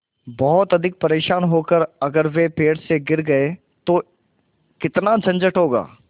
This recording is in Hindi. बहुत अधिक परेशान होकर अगर वे पेड़ से गिर गए तो कितना झंझट होगा